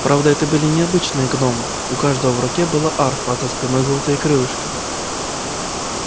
правда это были не обычные гномы у каждого в руке была арфа а за спиной золотые крылышки